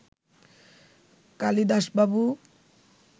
কালিদাসবাবু